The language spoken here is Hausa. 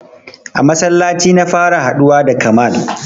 A masallaci na fara haɗuwa da Kamal.